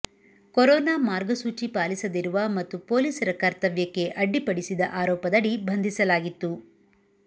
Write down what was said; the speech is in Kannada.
ಕೊರೋನಾ ಮಾರ್ಗಸೂಚಿ ಪಾಲಿಸದಿರುವ ಮತ್ತು ಪೊಲೀಸರ ಕರ್ತವ್ಯಕ್ಕೆ ಅಡ್ಡಿಪಡಿಸಿದ ಆರೋಪದಡಿ ಬಂಧಿಸಲಾಗಿತ್ತು